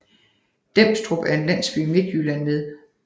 Demstrup er en landsby i Midtjylland med